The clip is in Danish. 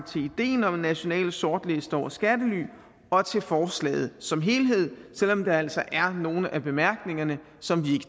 idéen om en national sortliste over skattely og til forslaget som helhed selv om der altså er nogle af bemærkningerne som